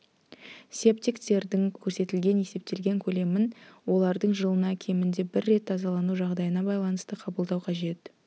септиктердің көрсетілген есептелген көлемін олардың жылына кемінде бір рет тазалану жағдайына байланысты қабылдау қажет